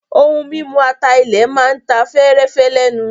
Ohun mímu ata-ilẹ̀ máa ta fẹ́ẹ́rẹ́fẹ́ lẹ́nu.